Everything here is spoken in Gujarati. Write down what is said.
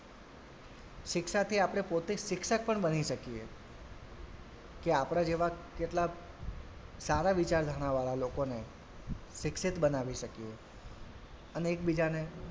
શિક્ષાથી આપડે પોતે શિક્ષક પણ બની શકીએ કે આપડા જેવા કેટલાક સારા વિચારધારણાવાળા લોકોને શિક્ષિત બનાવી શકીએ અને એકબીજાને,